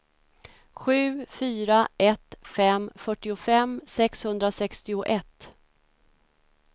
sju fyra ett fem fyrtiofem sexhundrasextioett